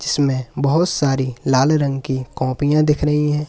इसमें बहोत सारी लाल रंग की कॉपियां दिख रही है।